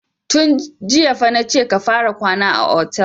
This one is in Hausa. Tun jiya fa na ce ka fara kwana a otel!